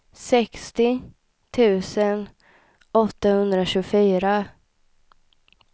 sextio tusen åttahundratjugofyra